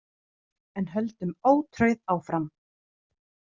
En höldum ótrauð áfram.